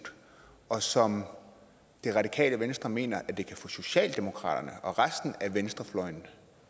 og som det radikale venstre mener de kan få socialdemokratiet og resten af venstrefløjen